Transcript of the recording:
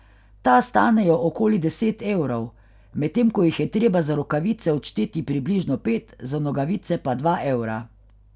Ta stanejo okoli deset evrov, medtem ko jih je treba za rokavice odšteti približno pet, za nogavice pa dva evra.